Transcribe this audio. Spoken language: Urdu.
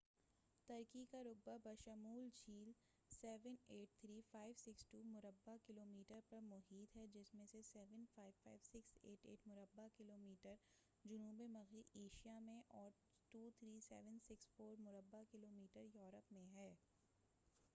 ترکی کا رقبہ بشمول جھیل، 783562 مربع کلومیٹر 300948 مربع میل پر محیط ہے، جس میں سے 755688 مربع کلومیٹر 291773 مربع میل جنوب مغربی ایشیاء میں اور 23764 مربع کلومیٹر 9174 مربع میل یورپ میں ہے۔